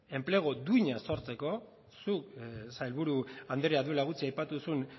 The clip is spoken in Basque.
enplegu duina sortzeko zuk sailburu andrea duela gutxi aipatu duzun